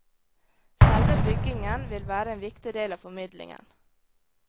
Selve byggingen vil være en viktig del av formidlingen.